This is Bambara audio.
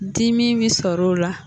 Dimi bɛ sɔr'o la.